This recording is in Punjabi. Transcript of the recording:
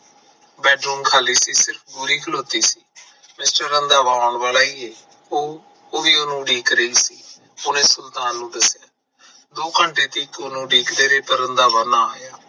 ਬੈਡ ਰੂਮ ਖਾਲੀ ਤੂੰ ਕਿਉਂ ਖਲੋਤੀ ਬਸ ਰੰਧਾਵਾ ਆਉਣ ਵਾਲਾ ਈ ਐ ਉਹ ਵੀ ਉਹਨੂੰ ਉਡੀਕ ਰਹੀ ਸੀ ਉਹਨੇ ਸੁਲਤਾਨ ਨੂੰ ਦੱਸਿਆ ਦੋ ਘੰਟੇ ਤੀਕ ਉਡੀਕਦੇ ਰਹੇ ਪਰ ਰੰਧਾਵਾ ਨਾ ਆਇਆ